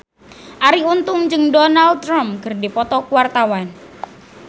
Arie Untung jeung Donald Trump keur dipoto ku wartawan